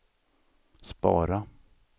spara